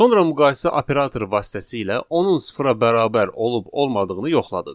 Sonra müqayisə operatoru vasitəsilə onun sıfıra bərabər olub-olmadığını yoxladıq.